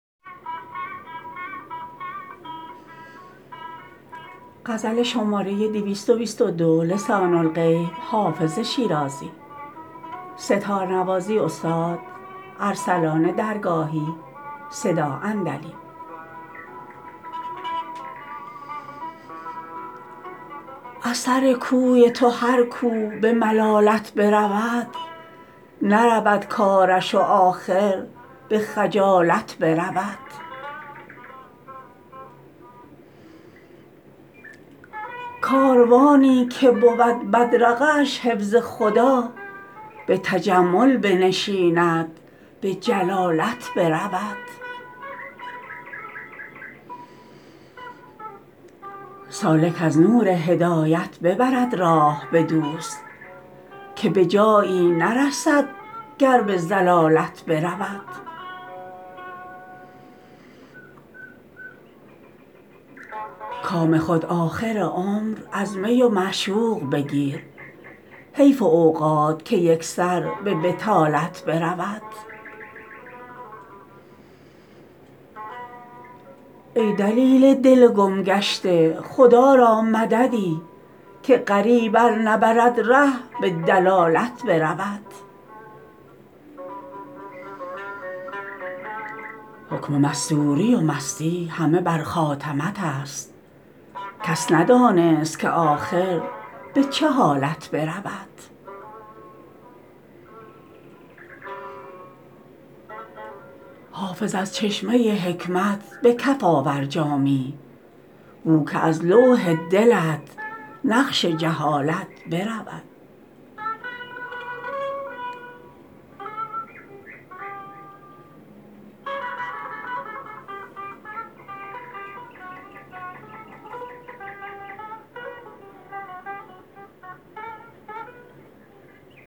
از سر کوی تو هر کو به ملالت برود نرود کارش و آخر به خجالت برود کاروانی که بود بدرقه اش حفظ خدا به تجمل بنشیند به جلالت برود سالک از نور هدایت ببرد راه به دوست که به جایی نرسد گر به ضلالت برود کام خود آخر عمر از می و معشوق بگیر حیف اوقات که یک سر به بطالت برود ای دلیل دل گم گشته خدا را مددی که غریب ار نبرد ره به دلالت برود حکم مستوری و مستی همه بر خاتمت است کس ندانست که آخر به چه حالت برود حافظ از چشمه حکمت به کف آور جامی بو که از لوح دلت نقش جهالت برود